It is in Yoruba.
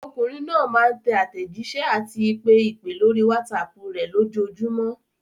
Ọmọkùnrin náà máa ń tẹ àtẹ̀jísẹ́ àti pe ìpè lórí WhatsApp rẹ̀ lójoojúmọ́.